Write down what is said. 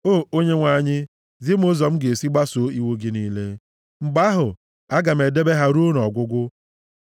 O Onyenwe anyị, zi m ụzọ m ga-esi gbasoo iwu gị niile; mgbe ahụ, aga m edebe ha ruo nʼọgwụgwụ.